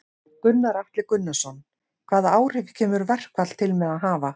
Gunnar Atli Gunnarsson: Hvaða áhrif kemur verkfall til með að hafa?